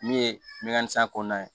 Min ye mɛnan ni san kɔnɔna ye